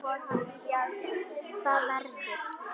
ÞAÐ VERÐUR